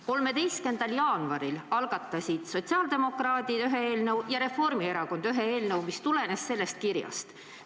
13. jaanuaril algatasid sotsiaaldemokraadid ühe eelnõu ja Reformierakond ühe eelnõu, mis tulenes sellest kirjast.